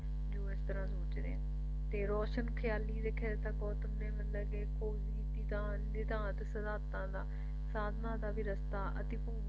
ਕੇ ਆਪਾਂ ਇਸ ਤਰਾਂ ਸੋਚਦੇ ਆ ਤੇ ਰੋਸ਼ਨ ਖਿਆਲੀ ਦੇ ਕਹੇ ਤਾ ਗੌਤਮ ਨੇ ਮਤਲਬ ਕੇ ਖੋਜ ਕੀਤੀ ਤਾਂ ਨਿਧਾਂਤ ਸਿਧਾਂਤਾਂ ਦਾ ਸਾਧਨਾ ਦਾ ਵੀ ਰਸਤਾ ਅਤੇ